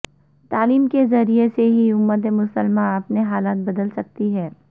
تعلےم کے ذرےعہ سے ہی امت مسلمہ اپنے حالات بدل سکتی ہے